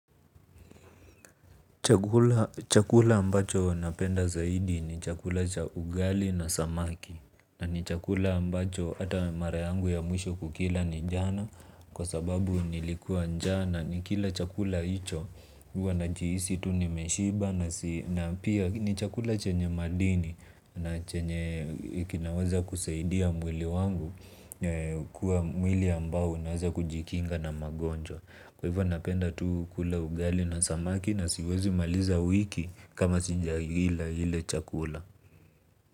Chakula ambacho napenda zaidi ni chakula cha ugali na samaki. Na ni chakula ambacho hata mara yangu ya mwisho kukila ni jana. Kwa sababu nilikuwa njaa na nikila chakula hicho huwa najihisi tu nimeshiba na pia ni chakula chenye madini. Na chenye kinaweza kusaidia mwili wangu kuwa mwili ambao unaweza kujikinga na magonjwa. Kwa hivyo napenda tu kula ugali na samaki na siwezi maliza wiki kama sija ila ile chakula.